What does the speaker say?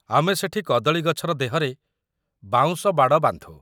ଆମେ ସେଠି କଦଳୀ ଗଛର ଦେହରେ ବାଉଁଶ ବାଡ଼ ବାନ୍ଧୁ ।